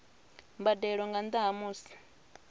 mbadelo nga nnda ha musi